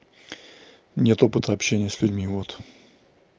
нет опыта общения с людьми вот